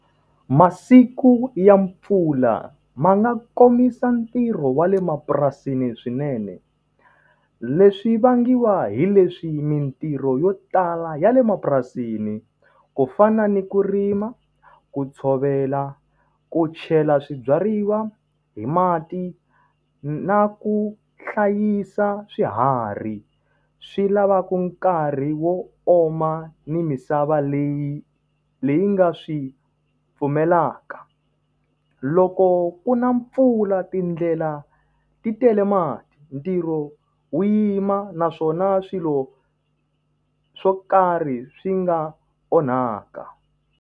Masiku ya mpfula ma nga komisa ntirho wa le mapurasini swinene. Leswi vangiwa hi leswi mintirho yo tala ya le mapurasini, ku fana ni ku rima, ku tshovela, ku chela swibyariwa hi mati, na ku hlayisa swiharhi, swi lavaka nkarhi wo oma ni misava leyi leyi nga swi pfumelaka. Loko ku na mpfula tindlela ti tele mati, ntirho wu yima naswona swilo swo karhi swi nga onhaka.